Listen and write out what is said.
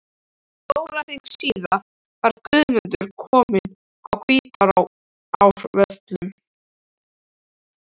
Sólarhring síðar var Guðmundur kominn að Hvítárvöllum.